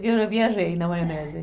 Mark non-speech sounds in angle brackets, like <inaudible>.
Que eu já viajei na maionese <laughs>